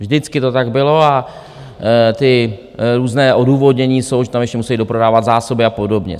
Vždycky to tak bylo a ty různé odůvodnění jsou, že tam ještě musí doprodávat zásoby a podobně.